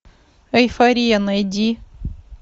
эйфория найди